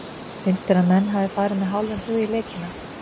Finnst þér að menn hafi farið með hálfum hug í leikina?